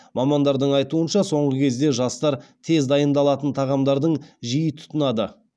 мамандардың айтуынша соңғы кезде жастар тез дайындалатын тағамдардың жиі тұтынады